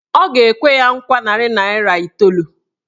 Ọ ga-ekwe ya nkwa narị naịra iteolu.